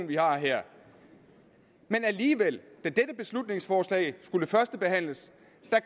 vi har her men alligevel da dette beslutningsforslag skulle førstebehandles